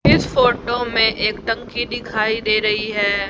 इस फोटो में एक टंकी दिखाई दे रही है।